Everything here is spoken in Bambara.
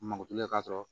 Mako tigɛ ka sɔrɔ